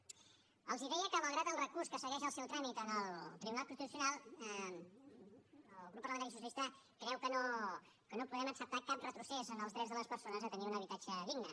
els deia que malgrat el recurs que segueix el seu tràmit en el tribunal constitucional el grup parlamentari socialista creu que no podem acceptar cap retrocés en els drets de les persones a tenir un habitatge digne